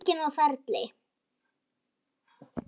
Það var enginn á ferli.